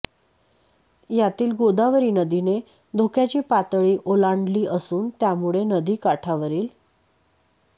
यातील गोदावरी नदीने धोक्याची पातळी ओलांडली असून यामुळे नदी काठावरील